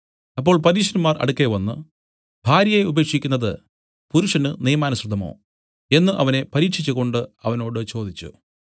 അപ്പോൾ പരീശന്മാർ അടുക്കെ വന്നു ഭാര്യയെ ഉപേക്ഷിക്കുന്നത് പുരുഷന് നിയമാനുസൃതമോ എന്നു അവനെ പരീക്ഷിച്ചുകൊണ്ട് അവനോട് ചോദിച്ചു